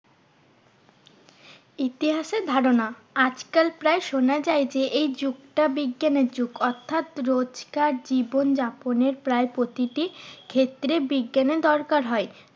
ইতিহাসের ধারণা, আজকাল প্রায় সোনা যায় যে, এই যুগটা বিজ্ঞানের যুগ। অর্থাৎ রোজকার জীবনযাপনের প্রায় প্রতিটি ক্ষেত্রে বিজ্ঞানের দরকার হয়।